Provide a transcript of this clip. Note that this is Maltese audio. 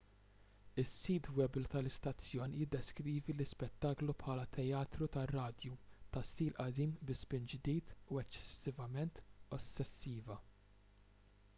is-sit web tal-istazzjon jiddeskrivi l-ispettaklu bħala teatru tar-radju ta' stil qadim bi spin ġdida u eċċessivament ossessiva